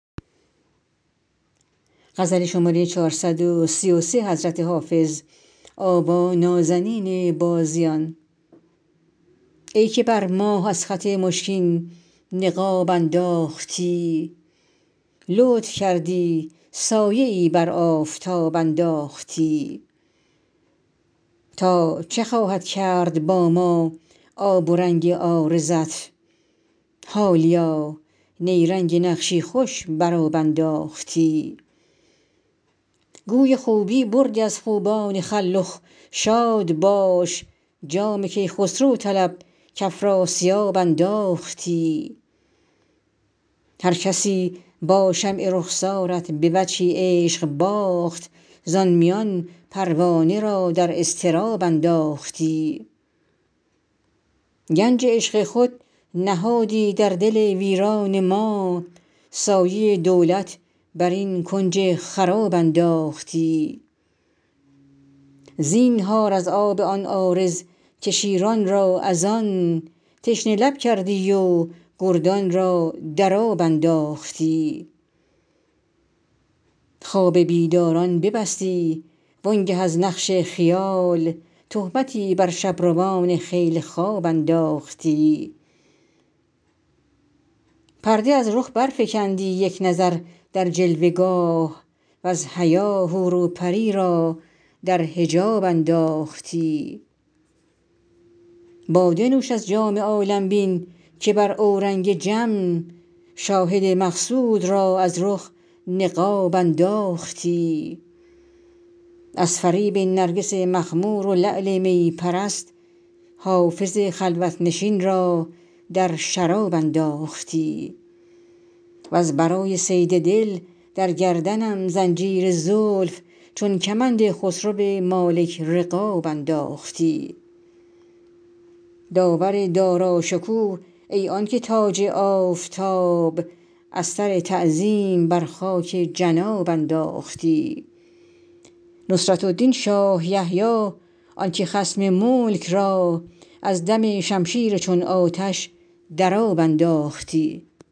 ای که بر ماه از خط مشکین نقاب انداختی لطف کردی سایه ای بر آفتاب انداختی تا چه خواهد کرد با ما آب و رنگ عارضت حالیا نیرنگ نقشی خوش بر آب انداختی گوی خوبی بردی از خوبان خلخ شاد باش جام کیخسرو طلب کافراسیاب انداختی هرکسی با شمع رخسارت به وجهی عشق باخت زان میان پروانه را در اضطراب انداختی گنج عشق خود نهادی در دل ویران ما سایه دولت بر این کنج خراب انداختی زینهار از آب آن عارض که شیران را از آن تشنه لب کردی و گردان را در آب انداختی خواب بیداران ببستی وآن گه از نقش خیال تهمتی بر شب روان خیل خواب انداختی پرده از رخ برفکندی یک نظر در جلوه گاه وز حیا حور و پری را در حجاب انداختی باده نوش از جام عالم بین که بر اورنگ جم شاهد مقصود را از رخ نقاب انداختی از فریب نرگس مخمور و لعل می پرست حافظ خلوت نشین را در شراب انداختی وز برای صید دل در گردنم زنجیر زلف چون کمند خسرو مالک رقاب انداختی داور داراشکوه ای آن که تاج آفتاب از سر تعظیم بر خاک جناب انداختی نصرة الدین شاه یحیی آن که خصم ملک را از دم شمشیر چون آتش در آب انداختی